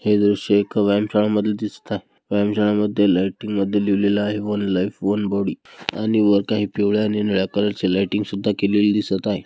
हे दृश्य एक व्यायाम शाळा मध्ये दिसत आहे. व्यायाम शाळा मध्ये लायटिंग मध्ये लिहलेल आहे वन लाइफ वन बॉडी आणि वर आहे पिवळा आणि निळा कलर चे लायटिंग सुद्धा केलेली दिसत आहे.